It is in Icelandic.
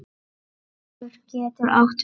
Gaukur getur átt við